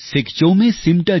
एक बरस बीत गया